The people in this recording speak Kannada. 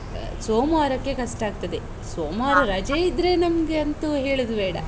ಸೋಮವಾರಕ್ಕೆ ಕಷ್ಟ ಆಗ್ತದೆ, ಸೋಮವಾರ ರಜೆ ಇದ್ರೆ ನಮ್ಗೆ ಅಂತೂ ಹೇಳುದು ಬೇಡ.